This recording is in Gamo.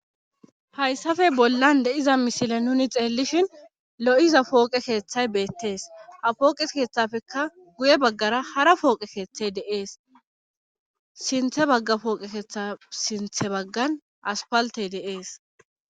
Hayssafey bollan de'iza mishile nuni xeellishin lo'iza pooqe keeththay beettees ha pooqe keeththafekka guye baggara hara pooqe keeththey deees sinthe bagga pooqe keeththa sinthe baggan aspaltey dees.